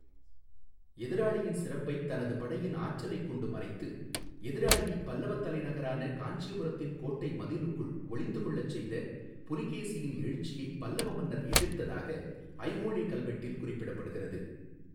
எதிராளியின் சிறப்பைத் தனது படையின் ஆற்றலைக் கொண்டு மறைத்து எதிராளியைப் பல்லவத் தலைநகரான காஞ்சிபுரத்தின் கோட்டை மதில்களுக்குள் ஒளிந்து கொள்ளச் செய்த புலிகேசியின் எழுச்சியைப் பல்லவ மன்னர் எதிர்த்ததாக ஐஹோளெ கல்வெட்டில் குறிப்பிடப்படுகிறது.